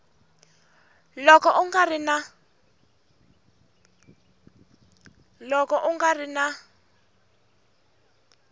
loko u nga ri na